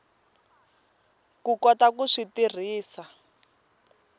ku kota ku swi tirhisa